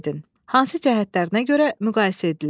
Hansı cəhətlərinə görə müqayisə edilir?